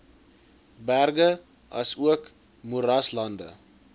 berge asook moeraslande